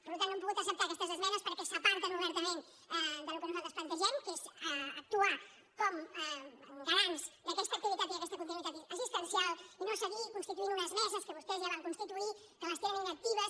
per tant no hem pogut acceptar aquestes esmenes perquè s’aparten obertament del que nosaltres plante·gem que és actuar com a garants d’aquesta activitat i d’aquesta continuïtat assistencial i no seguir consti·tuint unes meses que vostès ja van constituir que les tenen inactives